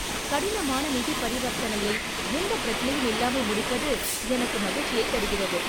கடினமான நிதி பரிவர்த்தனையை எந்தப் பிரச்சனையும் இல்லாமல் முடிப்பது எனக்கு மகிழ்ச்சியைத் தருகிறது.